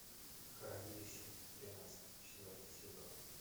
хранилище тринадцать четвертый сезон